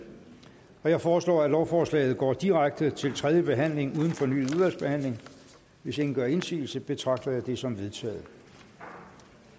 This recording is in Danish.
jeg foreslår at lovforslaget går direkte til tredje behandling uden fornyet udvalgsbehandling hvis ingen gør indsigelse betragter jeg det som vedtaget